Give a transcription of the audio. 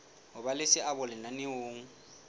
ho ba le seabo lenaneong